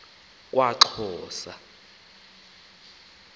kwaxhosa